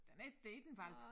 Den er ikke det ikke en hvalp